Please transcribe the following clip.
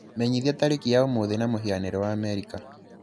menyithia tarĩki ya ũmũthĩ na mũhianĩre wa Amerika